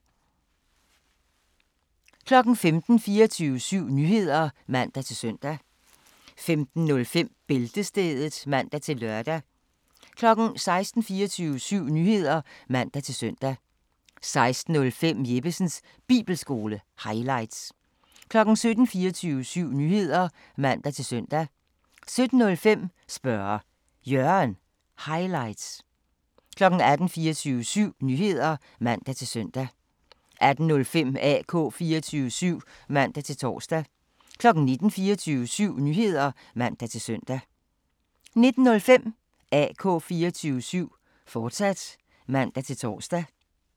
15:00: 24syv Nyheder (man-søn) 15:05: Bæltestedet (man-lør) 16:00: 24syv Nyheder (man-søn) 16:05: Jeppesens Bibelskole – highlights 17:00: 24syv Nyheder (man-søn) 17:05: Spørge Jørgen – highlights 18:00: 24syv Nyheder (man-søn) 18:05: AK 24syv (man-tor) 19:00: 24syv Nyheder (man-søn) 19:05: AK 24syv, fortsat (man-tor)